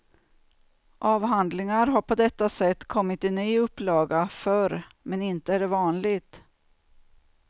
Avhandlingar har på detta sätt kommit i ny upplaga förr, men inte är det vanligt.